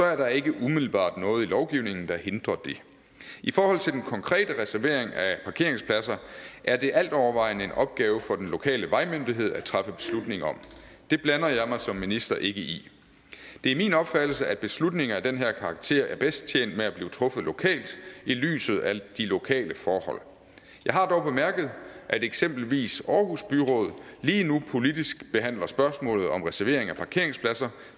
er der ikke umiddelbart noget i lovgivningen der hindrer det i forhold til den konkrete reservering af parkeringspladser er det altovervejende en opgave for den lokale vejmyndighed at træffe beslutning om det blander jeg mig som minister ikke i det er min opfattelse at beslutninger af den her karakter er bedst tjent med at blive truffet lokalt i lyset af de lokale forhold jeg har dog bemærket at eksempelvis aarhus byråd lige nu politisk behandler spørgsmålet om reservering af parkeringspladser